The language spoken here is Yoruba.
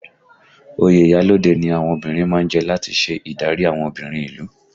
Oyè iyalode ni àwọn obìnrin má ń jẹ láti ṣe adarí àwọn obìnrin ìlú